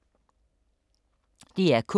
DR K